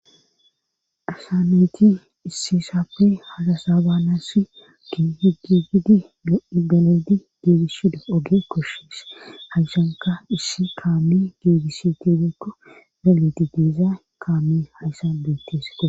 asanayti issi saappi halasaa baanassi gi higigidi no7i daledi giidis shida oge koshshis hayshanka issi kaami giidisi tidekko galeti diiza kaami haysa beettesete